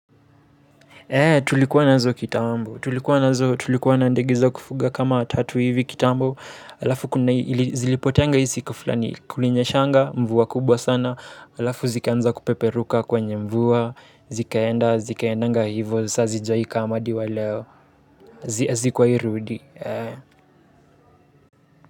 Eee tulikuwa nazo kitambo tulikuwa nazo tulikuwa na ndege za kufuga kama tatu hivi kitambo alafu kuna ili zilipoteanga hii siku flani kulinyeshanga mvua kubwa sana alafu zikaanza kupeperuka kwenye mvua zikaenda zikaendanga hivo saa hazijawai kam hadi wa leo hazikuwai rudi.